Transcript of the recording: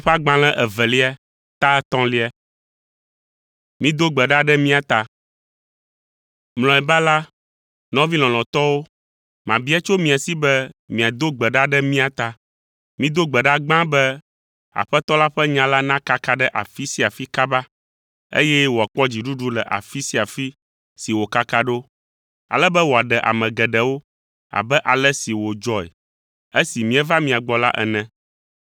Mlɔeba la, nɔvi lɔlɔ̃tɔwo, mabia tso mia si be miado gbe ɖa ɖe mía ta. Mido gbe ɖa gbã be Aƒetɔ la ƒe nya la nakaka ɖe afi sia afi kaba, eye wòakpɔ dziɖuɖu le afi sia afi si wòkaka ɖo, ale be wòaɖe ame geɖewo abe ale si wòdzɔe esi míeva mia gbɔ la ene.